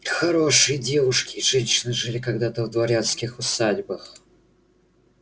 хорошие девушки и женщины жили когда-то в дворянских усадьбах